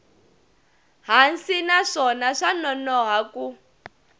hansi naswona swa nonoha ku